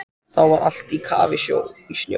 Þá var allt á kafi í snjó.